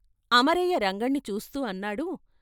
అమరయ్య రంగణ్ణి చూస్తూ అన్నాడు.